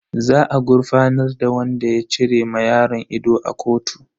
Za a gurfanar da wadan ya cire ma yaron ido a kotu.